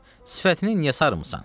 Sifətini niyə sarmısan?